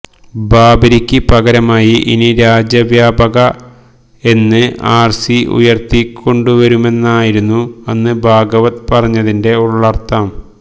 ബാബരിക്ക് പകരമായി ഇനി രാജ്യവ്യാപക എന് ആര് സി ഉയര്ത്തിക്കൊണ്ടുവരുമെന്നായിരുന്നു അന്ന് ഭാഗവത് പറഞ്ഞതിന്റെ ഉള്ളര്ഥം